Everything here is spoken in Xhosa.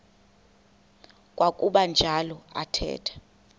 kwakuba njalo athetha